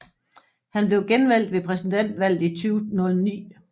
Han blev genvalgt ved præsidentvalget i 2009